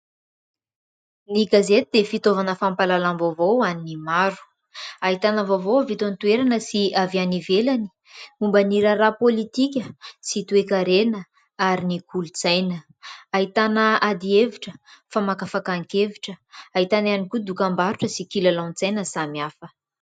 Ny gazety dia fitaovana fampahalalam-baovao an'ny maro. Ahitana vaovao avy eto an-toerana sy avy any ivelany, momba ny raharaha ara-pôlitika sy toe-karena ary ny kolotsaina. Ahitana ady hevitra, famakafakan-kevitra ; ahitana ihany koa dokam-barotra sy kilalaon-tsaina samihafa.